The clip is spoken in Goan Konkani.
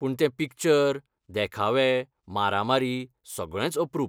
पूण तें पिक्चर, देखावे, मारामारी, सगळेंच अप्रूप .